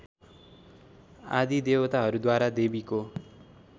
आदि देवताहरूद्वारा देवीको